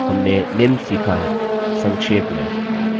हमने निम्न सीखा है संक्षेप में